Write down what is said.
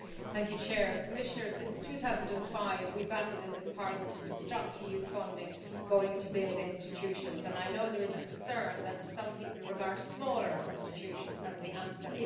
Mr President, Commissioner, since 2005 we have battled in this Parliament to stop EU funding going to build institutions and I know there is a concern that some people regard smaller institutions as the answer.